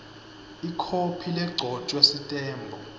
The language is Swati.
ikhophi legcotjwe sitembu